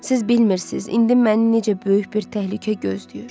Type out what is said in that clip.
Siz bilmirsiniz, indi məni necə böyük bir təhlükə gözləyir.